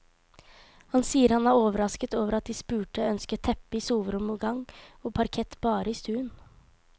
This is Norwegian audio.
Han sier han er overrasket over at de spurte ønsket teppe i soverom og gang, og parkett bare i stuen.